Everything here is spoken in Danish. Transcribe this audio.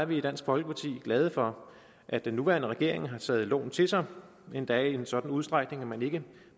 vi i dansk folkeparti glade for at den nuværende regering har taget loven til sig og endda i en sådan udstrækning at man ikke